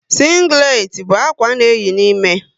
Sínglet bú ákwà a na eyi n'ime